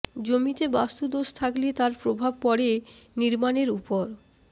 জমিতে বাস্তু দোষ থাকলে তার প্রভাব পড়ে নির্মাণের উপর